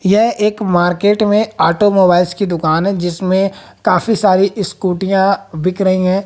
यह एक मार्केट में ऑटोमोबाइल्स की दुकान है जिसमें काफी सारी स्कुटियां बिक रही है।